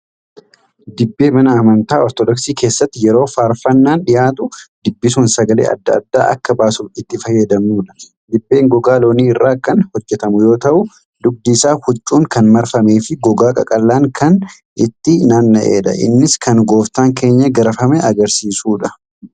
Dibbee mana amantaa ortoodoksii keessatti yeroo faarfannaan dhiyaatu dibbisuun sagalee adda addaa akka baasuuf itti fayyadamnudha. Dibbeen gogaa loonii irraa kan hojjatamu yoo ta'u, dugdi isaa huccuun kan marameefi gogaa qaqallaan kan itti naanna'edha. Innis kan gooftaan keenya garafame agarsiisuufidha.